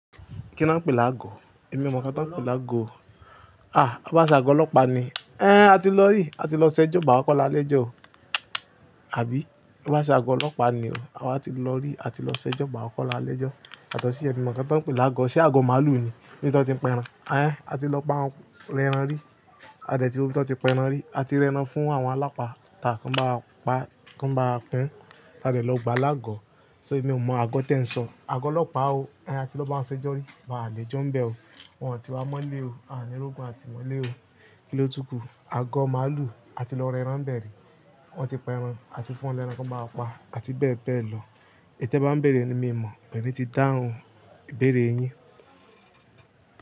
Kí ni wọ́n ń pè lágo? Èmi ò mọ̀ kán tó ń pè lágo. Ah! Ó bá à se àgọ́ ọlọ́pàá ni. Ẹ́n, a ti lọ rí, a ti lọ ṣẹ́jọ́ bàá kọ́lá alẹ́jọ́ o. Àbí? Ó bá à ṣe àgọ́ ọlọ́pàá ni o. A ti lọ rí, a ti lọ ṣẹ́jọ́ bàá kọ́lá alẹ́jọ́. Yàtọ̀sí, èmi mọ̀ ká n tó ń pè lágo. Ṣé àgọ́ màlúù ni? Ní bì tò ti ń penran. Ẹ́n, a ti lọ bá wọn rẹran rí. A dẹ̀ tí ló bí tó ti penran rí. A ti rẹran fún àwọn alápàá ta kán bá a pa, kán bá a pín. A tẹ̀ lọ gbá alágọ̀. So èmi ò mọ àgọ́ tẹ ń sọ. Àgọ́ ọlọ́pàá o. Ẹ́n, a ti lọ bá wọn ṣẹ́jọ́ rí. Bàá à le jọ́ ń bẹ̀ o. Wọn ò ti wa mọ́lé o. A ní rógun, a ti mọ́lé o. Kí ló tukù? Àgọ́ màlúù, a ti lọ rẹran bẹ̀rẹ̀. Wọn ti penran, a ti fún wọn lẹ́ran kó bà wáa pa, a ti bẹ̀ẹ́bẹ̀ẹ̀ lọ. É té bá ń béèrè ni mí ò mọ̀, bẹ̀rẹ̀ ti dáhùn ìbéèrè yín.